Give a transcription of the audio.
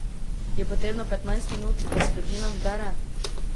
Je potrebno petnajst minut, da se družina zbere?